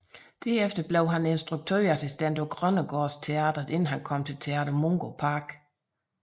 Derefter blev han instruktørassistent på Grønnegaards Teatret inden han kom til Teater Mungo Park